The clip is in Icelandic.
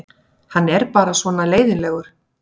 Hann er bara svona leiðinlegur.